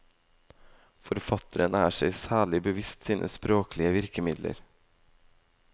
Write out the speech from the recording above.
Forfatteren er seg særlig bevisst sine språklige virkemilder.